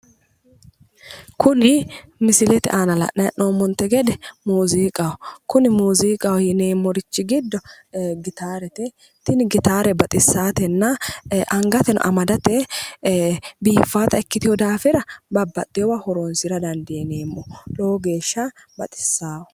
Kuni misilete aana la'nanni hee'noommote gede muuziiqaho, kuni muuziiqaho yineemmori giddo gitaarete tini gitaare baxissaatenna angateno amadate biiffata ikkitewo daafira babbaxeewo horonsira dandiineemmo, lowo geeshsha baxissawo.